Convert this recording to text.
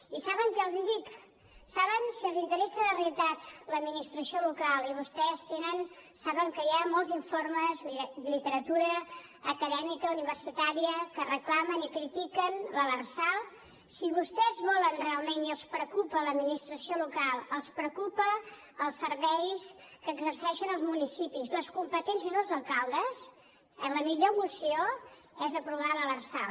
i saben què els dic si els interessa de veritat l’administració local i vostès saben que hi ha molts informes literatura acadèmica universitària que reclamen i critiquen l’lrsal si vostès volen realment i els preocupa l’administració local els preocupen els serveis que exerceixen els municipis les competències dels alcaldes la millor moció és aprovar l’lrsal